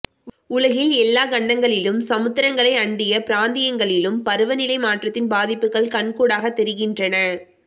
உலகின் எல்லா கண்டங்களிலும் சமுத்திரங்களை அண்டிய பிராந்தியங்களிலும் பருவநிலை மாற்றத்தின் பாதிப்புகள் கண்கூடாக தெரிகின்றன